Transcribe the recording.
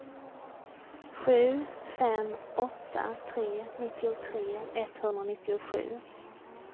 sju fem åtta tre nittiotre etthundranittiosju